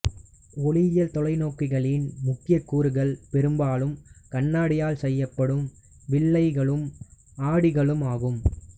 ஒளியியல் தொலைநோக்கிகளின் முக்கிய கூறுகள் பெரும்பாலும் கண்ணாடியால் செய்யப்படும் வில்லைகளும் ஆடிகளும் ஆகும்